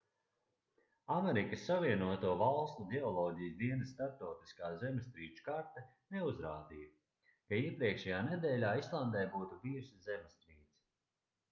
amerikas savienoto valstu ģeoloģijas dienesta starptautiskā zemestrīču karte neuzrādīja ka iepriekšējā nedēļā islandē būtu bijusi zemestrīce